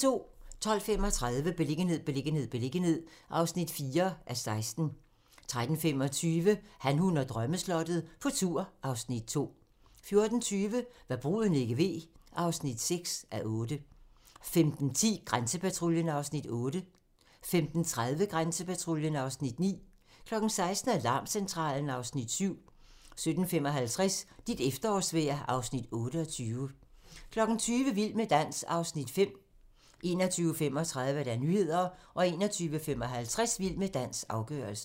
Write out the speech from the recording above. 12:35: Beliggenhed, beliggenhed, beliggenhed (4:16) 13:25: Han, hun og drømmeslottet - på tur (Afs. 2) 14:20: Hva' bruden ikke ved (6:8) 15:10: Grænsepatruljen (Afs. 8) 15:30: Grænsepatruljen (Afs. 9) 16:00: Alarmcentralen (Afs. 7) 17:55: Dit efterårsvejr (Afs. 28) 20:00: Vild med dans (Afs. 5) 21:35: Nyhederne 21:55: Vild med dans - afgørelsen